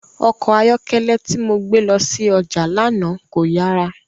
Ọkọ ayọkẹlẹ ti mo gbe lọ si ọja lana ko yara.